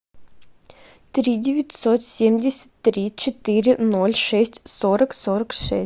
три девятьсот семьдесят три четыре ноль шесть сорок сорок шесть